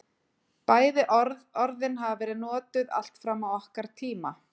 Bæði orðin hafa verið notuð allt fram á okkar tíma.